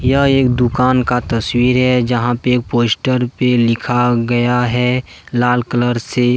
यह एक दुकान का तस्वीर है जहां पे एक पोस्टर पे लिखा गया है लाल कलर से।